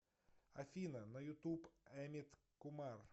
афина на ютуб амит кумар